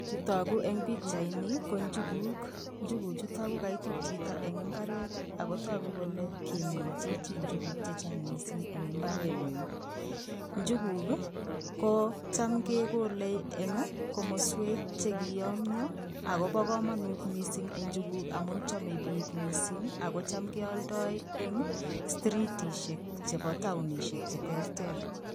Chetoku eng pikchaini ko njukuk. Njukuchuto ko kaitut chito eng mbaret ako tuku kole kimin chichi njukuk chechang mising eng imbarenyi. Njukuk ko cham kekole eng komaswek chekiyomyo akopo komonut mising njukuk amun chome biik mising ako cham kealdoi eng stritishek chepo taonishek cheterter.